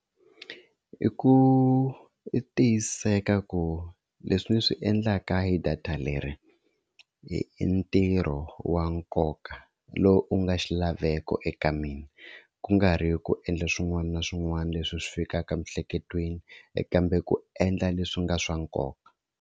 I ku tiyiseka ku leswi ndzi swi endlaka hi data leri i ntirho wa nkoka lowu u nga xilaveko eka mina ku nga ri ku endla swin'wana na swin'wana leswi swi fikaka emiehleketweni kambe ku endla leswi nga swa nkoka.